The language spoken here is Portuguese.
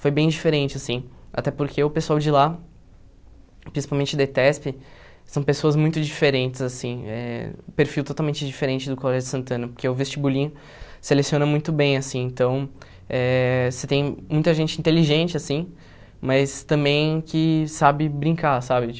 Foi bem diferente, assim, até porque o pessoal de lá, principalmente da ETESP, são pessoas muito diferentes, assim, eh perfil totalmente diferente do Colégio Santana, porque o vestibulinho seleciona muito bem, assim, então, eh você tem muita gente inteligente, assim, mas também que sabe brincar, sabe?